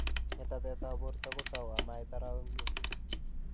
Ngetatet ap portoo kotau amait arawek muut.